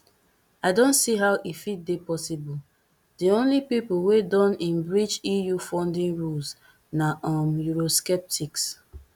i don see how e fit dey possible di only pipo wey don in breach eu funding rules na um eurosceptics